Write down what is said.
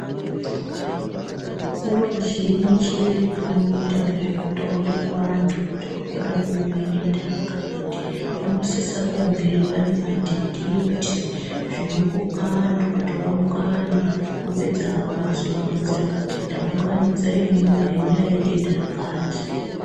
Nguwa zhinji vanoita ngezvekutaurira vantu kuti kuri kuda kuuya denda rakati vanosisa kunge vane madhindindi zvinokoka antu kuti aungane opedza hawo ozoaronzera kuti taunganidza imwimwi nenyaya yedenda rakati.